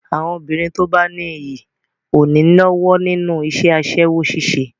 Àwọn obìnrin tí ó bá ní iyì ò ní lọ́wọ́ nínú iṣẹ́ aṣẹ́wó ṣíṣe.